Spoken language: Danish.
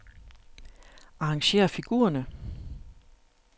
Arrangér figurerne.